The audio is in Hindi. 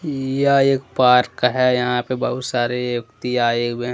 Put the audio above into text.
यह एक पार्क है यहां पे बहुत सारे व्यक्ति आए हुए हैं।